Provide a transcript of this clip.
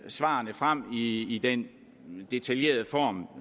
svarene frem i i den detaljerede form